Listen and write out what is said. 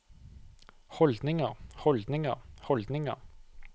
holdninger holdninger holdninger